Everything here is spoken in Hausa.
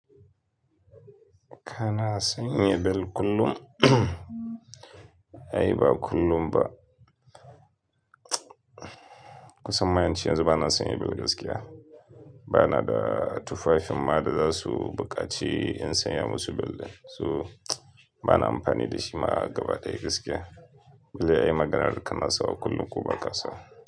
Kana sanya bel kullum? Ai ba kullum ba. Kusan ma ince yanzu bana sanya bel gaskiya. Bana da tufafin ma da za su buƙaci in sanya musu bel din. So bana amfani da shi ma gaba daya gaskiya. Za ai maganar da kana sawa kullum ko ba ka sawa.